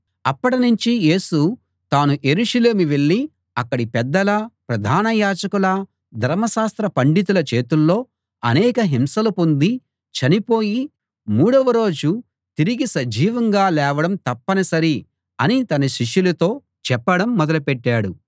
అప్పటినుంచి యేసు తాను యెరూషలేము వెళ్ళి అక్కడి పెద్దల ప్రధాన యాజకుల ధర్మశాస్త్ర పండితుల చేతుల్లో అనేక హింసలు పొంది చనిపోయి మూడవ రోజు తిరిగి సజీవంగా లేవడం తప్పనిసరి అని తన శిష్యులతో చెప్పడం మొదలుపెట్టాడు